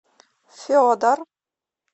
федор